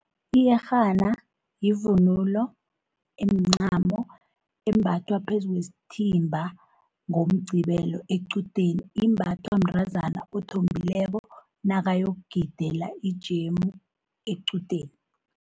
Iyerhana yivunulo emncamo embathwa phezu kwesithimba ngoMqqibelo equdeni, imbathwa mntrazana othombileko nakayokugidela ijemu equdeni.